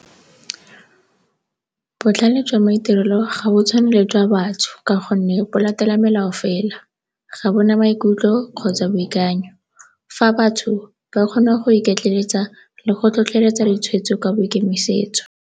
Botlhale jwa maitirelo ga bo tshwane le jwa batho ka gonne bo latela melao fela, ga bo na maikutlo kgotsa boikanyo fa batho ba kgona go iketleletsa le go tlhotlheletsa ditshweetso ka boikemisetso.